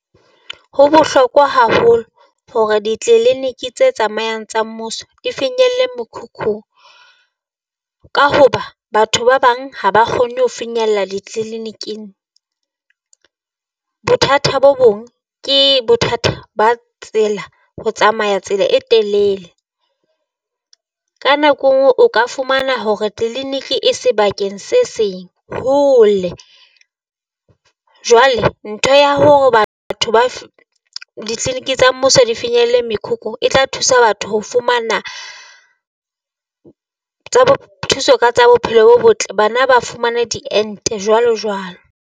Ho bohlokwa haholo hore ditliliniki tse tsamayang tsa mmuso di finyelle mokhukhu, ka hoba batho ba bang ha ba kgone ho finyella ditleliniking, bothata bo bong ke bothata ba tsela, ho tsamaya tsela e telele. Ka nako e nngwe o ka fumana hore e sebakeng se seng hole, jwale ntho ya hore batho ba ditliliniki tsa mmuso di finyelle mekhukhu e tla thusa batho ho fumana tsa bo thuso tsa bophelo bo botle. Bana ba fumana diente jwalo jwalo.